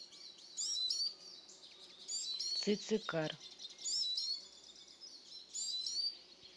цицикар